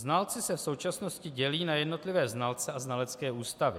Znalci se v současnosti dělí na jednotlivé znalce a znalecké ústavy.